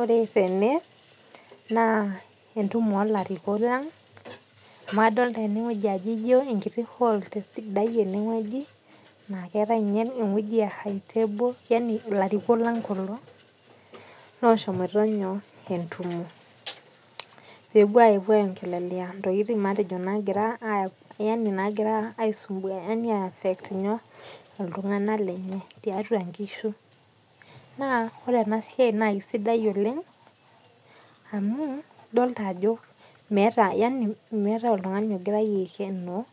Ore tene na entumo olarikok lang amu adolta enewueji na ewoi sidai oleng naa keetae nye ewoi e high table ilarikok leng kulo oshomoito entumo pepuo aiongelea ntokitin nagira aisumbua yanibagira apet ltunganak lenye tiatua nkishu na ore enasia na kesidai amu meeta oltungani ogirai aikenoo